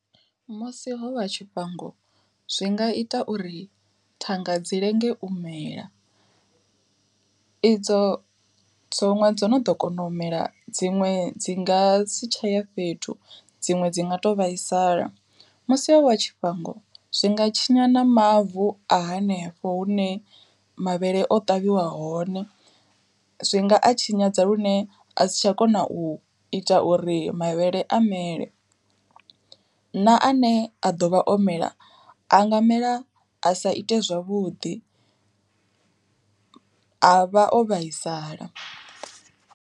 Musi ho wa tshifhango zwi nga ita uri thanga dzi lenge u mela, idzo dzo ṅwe dzo no ḓo kona u mela dziṅwe dzi nga si tsha ya fhethu dziṅwe dzi nga to vhaisala. Musi ho wa tshifhango zwi nga tshinya na mavu a hanefho hune mavhele o ṱavhiwa hone zwi nga a tshinyadza lune a si tsha kona u ita uri mavhele a mele, na ane a ḓovha o mela a nga mela a sa ite zwavhuḓi a vha o vhaisala.